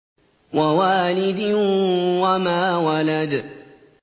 وَوَالِدٍ وَمَا وَلَدَ